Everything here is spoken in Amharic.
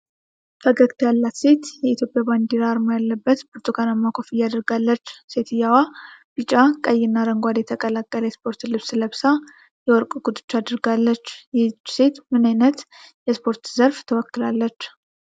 ፈገግታ ያላት ሴት፣ የኢትዮጵያ ባንዲራ አርማ ያለበት ብርቱካናማ ኮፍያ አድርጋለች። ሴትየዋ ቢጫ፣ ቀይና አረንጓዴ የተቀላቀለ የስፖርት ልብስ ለብሳ፣ የወርቅ ጉትቻ አድርጋለች። ይህች ሴት ምን ዓይነት የስፖርት ዘርፍ ትወክላለች?